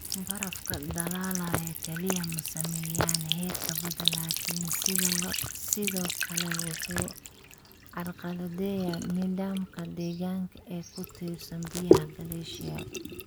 Barafka dhalaalayaa kaliya ma saameeyaan heerka badda laakiin sidoo kale wuxuu carqaladeeyaa nidaamka deegaanka ee ku tiirsan biyaha glacial.